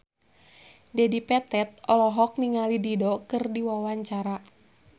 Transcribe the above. Dedi Petet olohok ningali Dido keur diwawancara